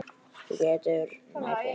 Þú getur nærri.